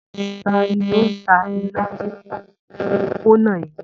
Ta ni ó ń ta ilá ní òpópónà yìí?